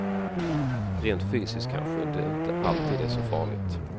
Rent fysiskt kanske det inte alltid är så farligt.